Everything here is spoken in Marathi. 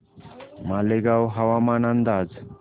मालेगाव हवामान अंदाज